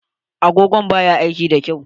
Agogon ba ya aiki da kyau.